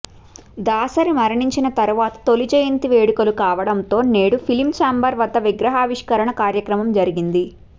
దాసరి మరణించిన తరువాత తొలి జయంతి వేడుకలు కావడంతో నేడు ఫిలిం ఛాంబర్ వద్ద విగ్రహావిష్కరణ కార్యక్రమం జరిగింది